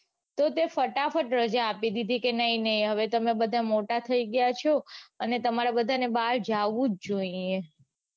તો તે ફટાફટ રજા આપી દીધી કે નઈ નઈ હવે તમે બધા મોટા થઇ ગયા છો અને તમારે બધાને બાર જાઉં જ જોઈએ.